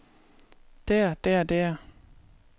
der der der